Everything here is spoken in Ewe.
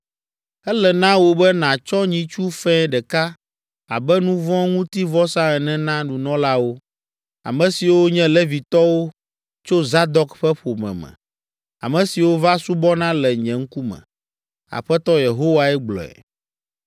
Ele na wò be nàtsɔ nyitsu fɛ̃ ɖeka abe nuvɔ̃ŋutivɔsa ene na nunɔlawo, ame siwo nye Levitɔwo tso Zadok ƒe ƒome me, ame siwo va subɔna le nye ŋkume.’ Aƒetɔ Yehowae gblɔe.